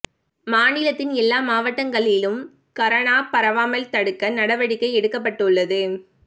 மாநிலத்தின் எல்லா மாவட்டங்களிலும் கரோனா பரவாமல் தடுக்க நடவடிக்கை எடுக்கப்பட்டுள்ளது